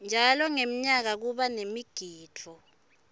njalo ngemnyaka kuba nemigidvo